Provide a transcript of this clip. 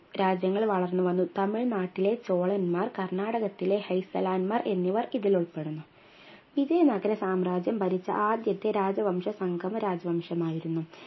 രാജ്യങ്ങൾ വളർന്നു വന്നു തമിഴ്നാട്ടിലെ ചോളന്മാർ കർണ്ണാടകത്തിലെ ഹെസ്സലാന്മാർ എന്നിവർ ഇതിൽ ഉൾപ്പെടുന്നു വിജയ നഗര സാമ്രാജ്യം ഭരിച്ച ആദ്യത്തെ രാജവംശ സംഗമ രാജവംശമായിരുന്നു